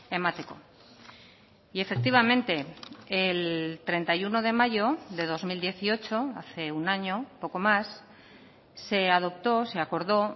emateko y efectivamente el treinta y uno de mayo de dos mil dieciocho hace un año poco más se adoptó se acordó